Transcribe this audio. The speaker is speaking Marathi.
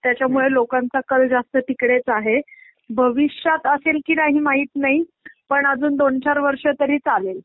त्याच्यामुळे लोकांचा कळ जास्त तिकडेच आहे भविष्यात असेल की नाही माहित नाही पण अजून दोन चार वर्ष तरी चालेल .